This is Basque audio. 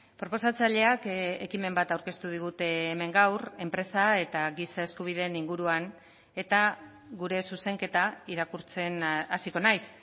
proposatzaileak ekimen bat aurkeztu digute hemen gaur enpresa eta giza eskubideen inguruan eta gure zuzenketa irakurtzen hasiko naiz